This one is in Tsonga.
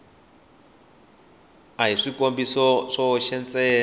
a hi swikombiso swoxe ntsene